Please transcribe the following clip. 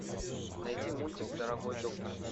найди мультик дорогой доктор